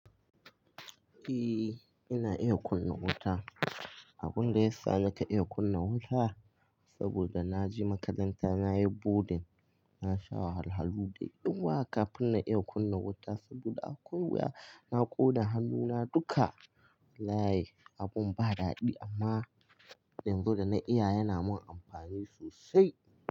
Eh, ina iya kunna wuta. Abun da ya sa nake iya kunna wuta saboda na je makaranta, na yi boarding, na sha wahalar halu da yawa kafin na iya kunna wuta saboda akwai wuya na ƙona hannuna duka. Wallahi abun ba daɗi amma yanzu da na iya yana min amfani sosai.